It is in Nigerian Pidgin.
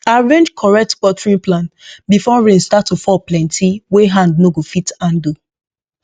arrange correct watering plan before rain start to fall plenty wey hand no go fit handle